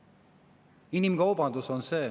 See on inimkaubandus.